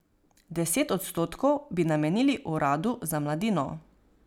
Deset odstotkov bi namenili uradu za mladino.